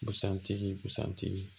Busan tigi busan tigi